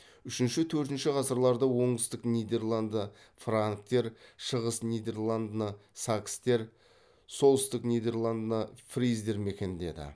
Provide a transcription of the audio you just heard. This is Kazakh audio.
үшінші төртінші ғасырларда оңтүстік нидерландны франктер шығыс нидерландны сакстер солтүстік нидерландны фриздер мекендеді